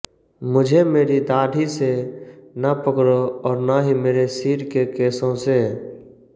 मुझे मेरी दाढ़ी से न पकड़ो और न ही मेरे सिर के केशों से